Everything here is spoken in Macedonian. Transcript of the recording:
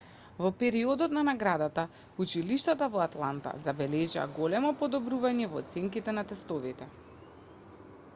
во периодот на наградата училиштата во атланта забележаа големо подобрување во оценките на тестовите